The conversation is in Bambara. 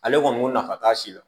Ale kɔni nafa t'a si la